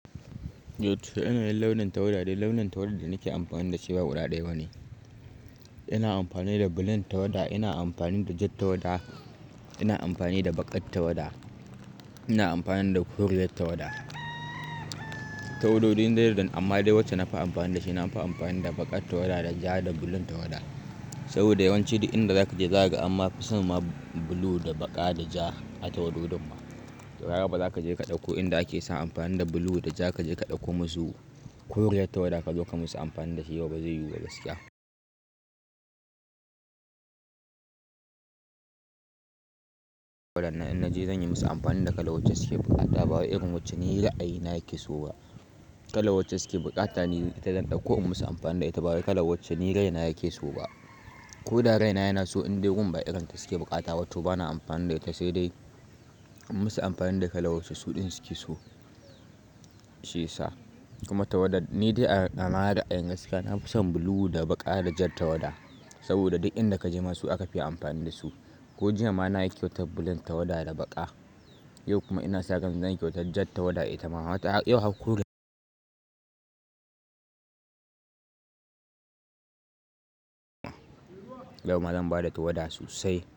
Yo to irin launin tawada? Launin tawada da nake amfani da shi ba guda ɗaya ba ne. Ina amfani da blue tawada, ina amfani da ja tawada, ina amfani da baƙar tawada, ina amfani da Koriya tawada. Tawado din da yaren don amma dai wacce na fi amfani da shi, na fi amfani da baƙar tawada da ja da blue tawada. Saboda yawanci duk inda zaka je zaka ga amma fi son ma blue da baƙa da ja a tawado dinma To haka ba zaka je ka ɗauko inda ake sa amfani da blue da ja kaje ka ɗauko musu koriyar tawada ka zo ka musu amfani da shi yau ba zai yiwu da gaskiya. Inda in naje zan yi musu amfani da kala wacce suke buƙata ba wa irin wacce ni ra, ayi na yake so ba. Kala wacce suke buƙata ni idan ɗauko musu amfani da ita. Ba wa kala wacce ni raina yake so ba. Ko da raina yana so indai gun ba irin ta suke buƙata, Toh bana amfani da ita, sai dai in musu amfani da kala wacce suɗin suke so. Shi ya sa. Kuma tawada ni dai a nawa ra'ayin gaskiya na fi son blue da baƙa da ja tawada. Saboda duk inda kaje masu aka fi amfani da su. Ko jiya ma na ƙyauta blue tawada da baƙa. Yau kuma ina sa ran zanyi ƙyauta ja tawada ita ma. Wato yau har kure. Yau ma zan bada tawada sosai.